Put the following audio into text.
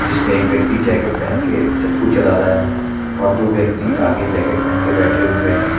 जिसमें एक व्यक्ति जैकेट पहन के चप्पू चल रहा है और दो व्यक्ति आगे जैकेट पहन के बैठे हुए हैं।